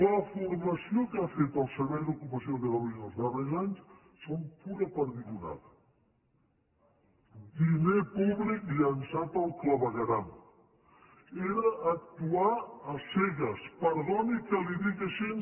la formació que ha fet el servei d’ocupació de catalunya els darrers anys són pura perdigonada diner públic llençat al clavegueram doni que li ho digui així